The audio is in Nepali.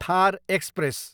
थार एक्सप्रेस